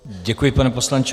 Děkuji, pane poslanče.